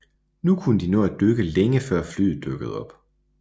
Nu kunne de nå at dykke længe før flyet dukkede op